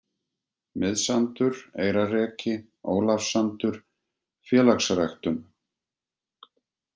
Miðsandur, Eyrarreki, Ólafssandur, Félagsræktun